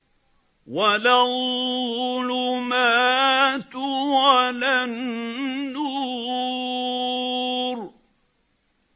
وَلَا الظُّلُمَاتُ وَلَا النُّورُ